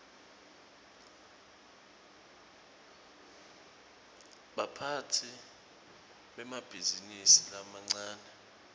baphatsi bemabhizinisi lamancane